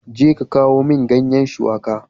Jeka kawo min ganye shuwaƙa.